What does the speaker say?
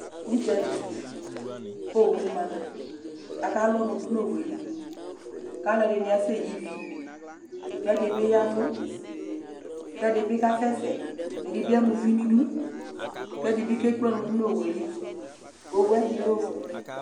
Udzali, ku owu ma , ku aka lu ɔnu du nu Owue li ,ku alu ɛdini asɛyi ivi , ku ɛdi bi yavu, ku ɛdi bi kasɛsɛ, ɛdi bi ama uvi nu idu, ku ɛdi bi ke kple ɔnu du nu Owue li , Owue ɛdi lɛ ofue